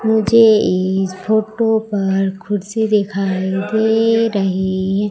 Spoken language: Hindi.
मुझे इस फोटो पर कुर्सी दिखाई दे रही है।